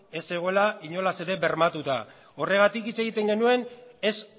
ez zegoela inolaz ere bermatuta horregatik hitz egiten genuen ez